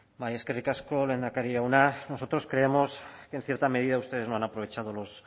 bai eskerrik asko lehendakari jauna nosotros creemos que en cierta medida ustedes no han aprovechado los